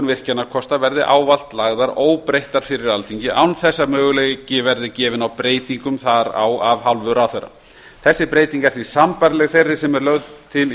virkjunarkosta verði ávallt lagðar óbreyttar fyrir alþingi án þess að möguleiki verði gefinn á breytingum þar á af hálfu ráðherra þessi breyting er því sambærileg þeirri sem er lögð til í